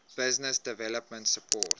business development support